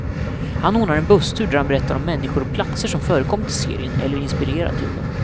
Han ordnar en busstur där han berättar om människor och platser som förekommit i serien, eller inspirerat till den.